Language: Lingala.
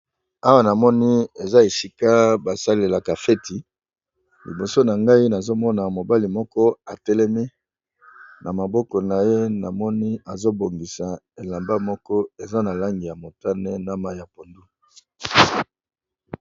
Awa na moni eza esika basalelaka feti liboso na ngai nazomona mobali moko atelemi na maboko na ye namoni azobongisa elamba moko eza na langi ya motane na mayi ya pondu.